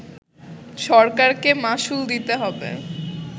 সরকারকে মাশুল দিতে হবে